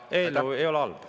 Aga eelnõu ei ole halb.